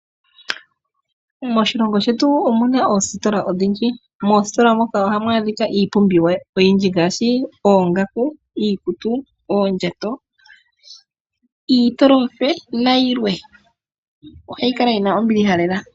Moshilongo shetu omu na oositola odhindji. Moositola moka ohamu adhika iipumbiwa oyindji ngaashi oongaku, iikutu, oondjato, iitolofe nayilwe. Ohayi kala yi na ombiliha lela.